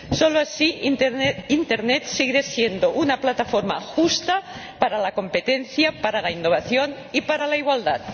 Solo así Internet seguirá siendo una plataforma justa para la competencia, para la innovación y para la igualdad.